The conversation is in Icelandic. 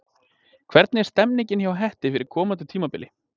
Hvernig er stemningin hjá Hetti fyrir komandi tímabil?